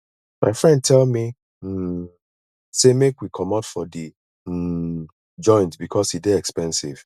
my friend tell me um sey make we comot for di um joint because e dey expensive